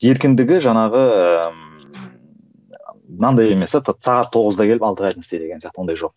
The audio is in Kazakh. еркіндігі жаңағы мынандай емес те сағат тоғызда келіп алтыға дейін істе деген сияқты ондай жоқ